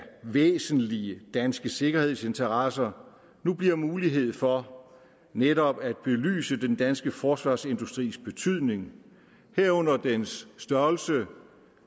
væsentlige danske sikkerhedsinteresser nu bliver mulighed for netop at belyse den danske forsvarsindustris betydning herunder dens størrelse